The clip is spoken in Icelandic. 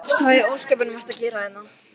Hvað í ósköpunum ert þú að gera hér?